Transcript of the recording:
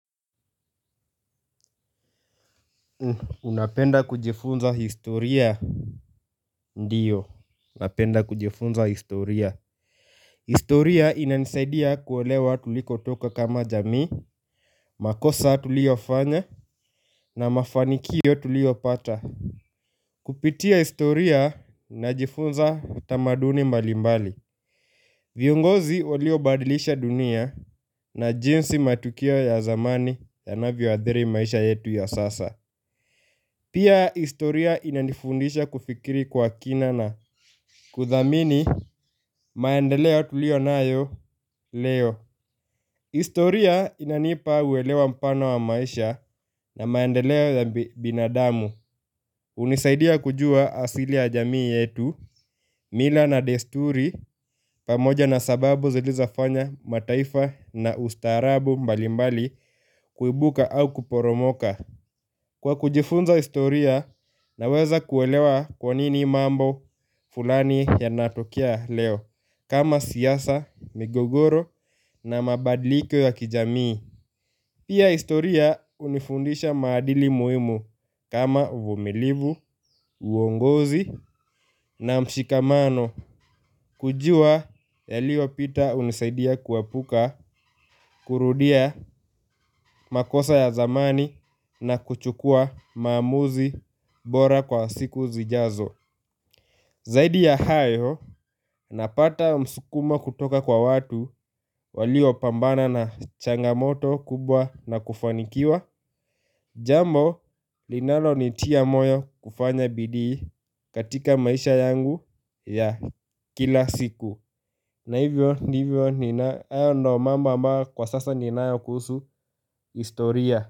Unapenda kujifunza historia? Ndiyo napenda kujifunza historia. Historia inanisaidia kuelewa tulikotoka kama jamii. Makosa tuliofanya na mafanikio tuliopata kupitia historia, najifunza tamaduni mbalimbali. Viongozi waliobadilisha dunia na jinsi matukio ya zamani yanavyo athiri maisha yetu ya sasa. Pia historia inanifundisha kufikiri kwa kina na kuthamini maendeleo tuliyonayo leo. Historia inanipa uelewa mpana wa maisha na maendeleo ya binadamu. Hunisaidia kujua asili ya jamii yetu, mila na desturi, pamoja na sababu zilizofanya mataifa na ustaarabu mbalimbali kuibuka au kuporomoka. Kwa kujifunza historia naweza kuelewa kwa nini mambo fulani yanatokea leo kama siasa, migogoro na mabadliko ya kijamii. Pia historia hunifundisha maadili muhimu kama uvumilivu, uongozi na mshikamano kujua yaliyopita hunisaidia kuepuka kurudia makosa ya zamani na kuchukua maamuzi bora kwa siku zijazo. Zaidi ya hayo, napata msukumo kutoka kwa watu waliopambana na changamoto kubwa na kufanikiwa, jambo linalonitia moyo kufanya bidii katika maisha yangu ya kila siku. Na hivyo, ndivyo, hayo ndo mambo ambayo kwa sasa ninayo kuhusu historia.